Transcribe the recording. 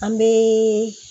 An bɛ